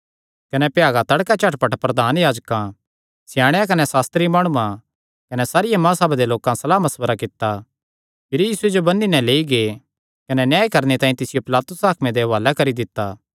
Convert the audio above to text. कने भ्यागा तडकें झटपट प्रधान याजकां स्याणेयां कने सास्त्री माणुआं कने सारिया महासभा दे लोकां सलाह मशवरा कित्ता भिरी यीशुये जो बन्नी नैं लेई गै कने तिसियो पिलातुस हाकमे दे हुआले करी दित्ता